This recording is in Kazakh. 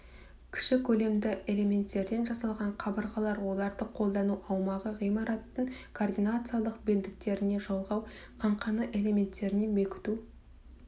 кіші көлемді элементтерден жасалған қабырғалар оларды қолдану аумағы ғимараттың координациялық белдіктеріне жалғау қаңқаның элементтеріне бекіту